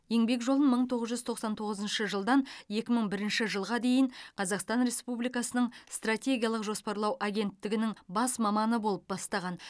еңбек жолын мың тоғыз жүз тоқсан тоғызыншы жылдан екі мың бірінші жылға дейін қазақстан республикасының стратегиялық жоспарлау агенттігінің бас маманы болып бастаған